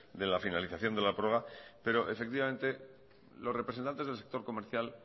de la finalización de la prórroga pero los representantes del sector comercial